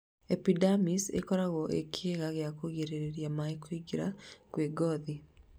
Epidermis ĩkoragwo ĩ kĩga gĩa kũrigĩrĩria na kũgirĩrĩria maĩ kũingĩra kĩa ngothi